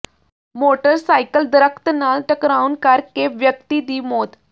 motorcycle ਦਰੱਖਤ ਨਾਲ ਟਕਰਾਉਣ ਕਰ ਕੇ ਵਿਅਕਤੀ ਦੀ ਮੌਤ